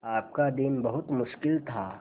आपका दिन बहुत मुश्किल था